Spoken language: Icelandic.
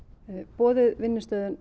boðuð vinnustöðvun